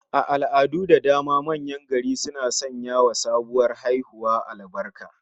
A al'adu da dama manyan gari suna sanyawa sabuwar haihuwa albarka